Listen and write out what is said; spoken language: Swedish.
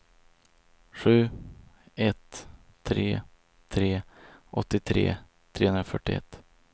sju ett tre tre åttiotre trehundrafyrtioett